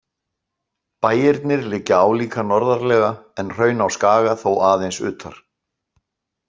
Bæirnir liggja álíka norðarlega en Hraun á Skaga þó aðeins utar.